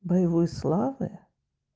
боевой славы